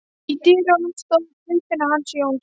Í dyrunum stóð Guðfinna hans Jóns.